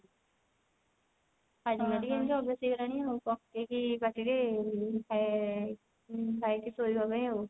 hajmola ଟିକେ ଏମିତି ଅଭ୍ୟାସ ହେଇଗଲାଣି ଆଉ ପକେଇକି ପାଟି ରେ ଉଁ ଖାଇକି ଶୋଇବା ପାଇଁ ଆଉ